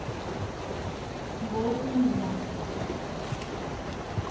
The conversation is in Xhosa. ngo a udla